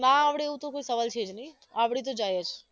ના આવડે એવો તો કોઈ સવાલ છે જ નહિ આવડી તો જાય જ છે જ